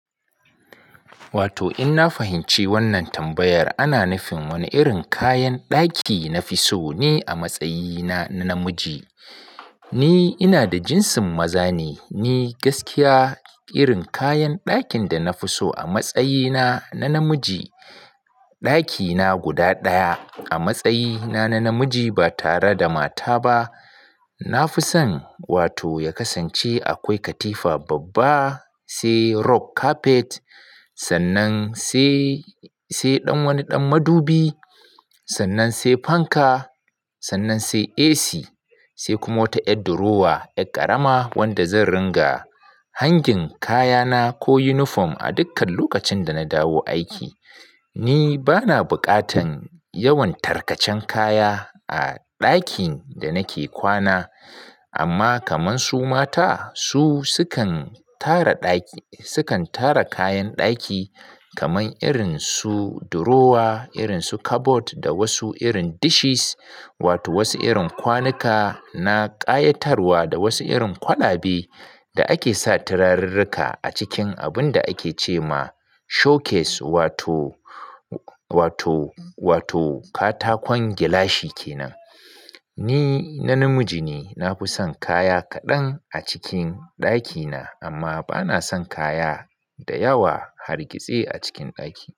Wato in na fahimci wannan tambayar ana nufin wani irin kayan ɗaki na fi so ne a matsayina na namiji. Ni ina da jinsin maza ne, ni gaskiya irin kayan ɗakin da na fi so a matsayina na namiji, ɗakina guda ɗaya a matsayina na namiji ba tare da mata ba, na fi son wato ya kasance akwai katifa babba, sai rug carpet, sannan sai, sai ɗan wani ɗan madubi, sannan sai fanka, sannan sai AC, sai kuma wata ƴar durowa, ƴar ƙarama wanda zan ringa hangin kayana ko yunifom a dukkan lokacin da na dawo aiki. Ni bana bukatan yawan tarkacen kaya a ɗakin da nake kwana, amma kaman su mata su sukan tara ɗaki, sukan tara kayan ɗaki kaman irin su durowa, irin su kabod da wasu irin dishes wato wasu irin kwanuka na ƙayatarwa da wasu irin kwalabe da ake sa turarirrika a cikin abun da ake ce ma showcase wato, wato, wato katakon gilashi kenan. Ni na namiji ne, na fi son kaya kaɗan a cikin ɗakina amma bana son kaya da yawa hargitse a cikin ɗaki.